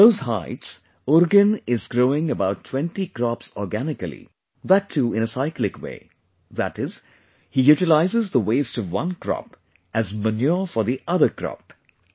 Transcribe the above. At those heights Urugen is growing about 20 crops organically, that too in a cyclic way, that is, he utilises the waste of one crop as manure for the other crop